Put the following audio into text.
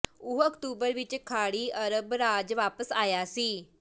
ਉਹ ਅਕਤੂਬਰ ਵਿਚ ਖਾੜੀ ਅਰਬ ਰਾਜ ਵਾਪਸ ਆਇਆ ਸੀ